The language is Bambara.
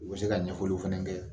U bɛ se ka ɲɛfɔliw fɛnɛ kɛ